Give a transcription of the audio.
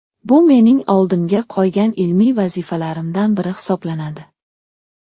Bu mening oldimga qo‘ygan ilmiy vazifalarimdan biri hisoblanadi.